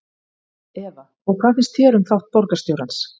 Eva: Og hvað finnst þér um þátt borgarstjórans?